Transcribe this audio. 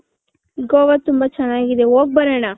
ಗೋವಾ ತುಂಬಾ ಚೆನ್ನಾಗಿದೆ ಹೋಗ್ ಬರಣ .